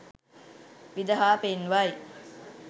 විදහා පෙන්වයි